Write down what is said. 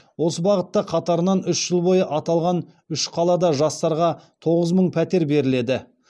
осы бағытта қатарынан үш жыл бойы аталған үш қалада жастарға тоғыз мың пәтер беріледі